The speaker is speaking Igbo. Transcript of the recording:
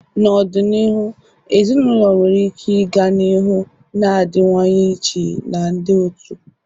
N'ọdịniihu, ezinaụlọ nwere ike ịga n'ihu na-adịwanye iche na ndị otu.